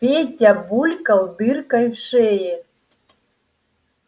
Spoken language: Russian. петя булькал дыркой в шее